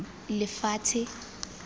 lefatshe